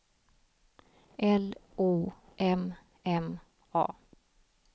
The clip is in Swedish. L O M M A